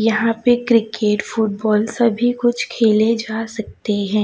यहां पे cricket football सभी कुछ खेले जा सकते हैं।